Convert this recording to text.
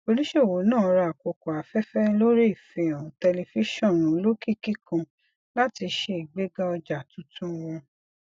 oníṣòwò náà ra àkókò afẹfẹ lórí ìfihàn tẹlifíṣọn olókìkí kan láti ṣe igbégà ọja tuntun wọn